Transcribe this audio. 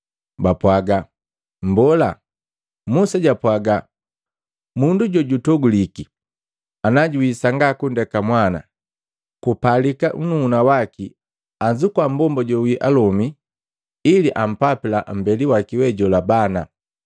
Bapwaga, “Mbola, Musa japwaga mundu jojutoguliki ana juwii sanga kundeka mwana, kupalika nnuhuna waki anzukua mmbomba jowii alome ili ampapila mmbeli waki we jola bana.